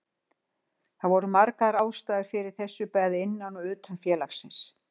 Það voru margar ástæður fyrir þessu bæði innan og utan félagsins.